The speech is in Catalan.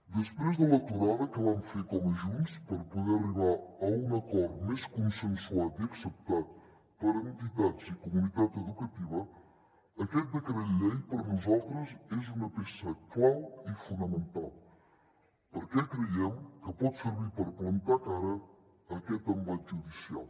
després de l’aturada que van fer com a junts per poder arribar a un acord més consensuat i acceptat per entitats i comunitat educativa aquest decret llei per nosaltres és una peça clau i fonamental perquè creiem que pot servir per plantar cara a aquest embat judicial